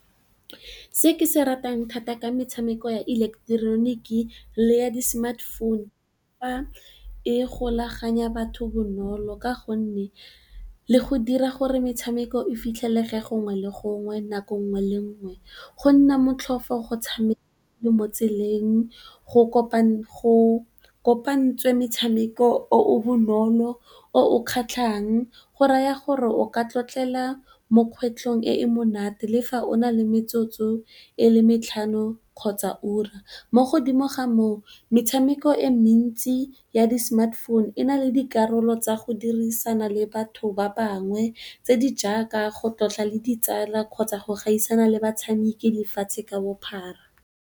Se ke se ratang thata ka metshameko ya ileketeroniki le ya di sematefounu, e golaganya batho bonolo ka gonne e dira gore metshameko e fitlhelege gongwe le gongwe, nako nngwe le nngwe, go nna motlhofo o le mo tseleng, go kopantswe metshameko e e bonolo e kgatlhang. Go raya gore o ka tlotlela mo kgwetlhong e e monate le fa o na le metsotso e le metlhano kgotsa ura. Mo go dimo ga moo metshameko e mentsi ya di sematefounu e na le dikarolo tsa go dirisana le batho ba bangwe tse di jaaka go tlotla le ditsala kgotsa go gaisana le batshameki lefatshe ka bophara.